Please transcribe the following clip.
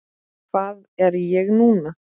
Hvað er ég núna?